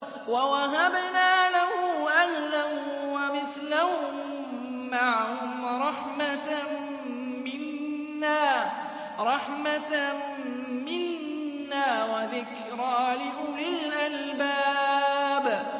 وَوَهَبْنَا لَهُ أَهْلَهُ وَمِثْلَهُم مَّعَهُمْ رَحْمَةً مِّنَّا وَذِكْرَىٰ لِأُولِي الْأَلْبَابِ